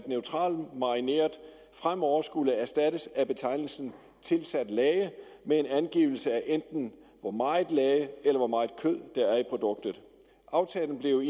neutralmarineret fremover skulle erstattes af betegnelsen tilsat lage med angivelse af enten hvor meget lage eller hvor meget kød der er i produktet aftalen blev